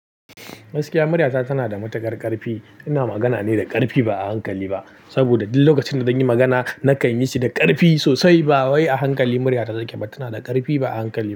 Gaskiya murya ta tana da matuƙar ƙarfi. Ina magana ne da ƙarfi ba a hankali ba saboda duk lokacin da zan yi magana na kan yi shi da ƙarfi sosai ba wai a hankali murya ta take ba tana da ƙarfi ba a hankali ba.